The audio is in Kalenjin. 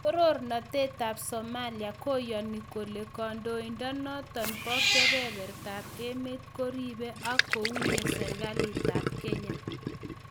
Toronatetab Somalia koyoni kole kondoindonoton bo kebertab emet koribe ak kounye serkalitab Kenya